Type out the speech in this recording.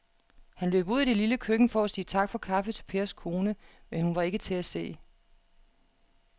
Han løb ud i det lille køkken for at sige tak for kaffe til Pers kone, men hun var ikke til at se.